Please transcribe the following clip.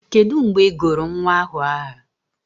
Kedu mgbe ị gụrụ nwa ahụ aha?